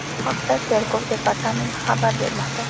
Bu haqda Tergov departamenti xabar bermoqda .